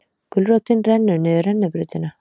Gulrótin rennur niður rennibrautina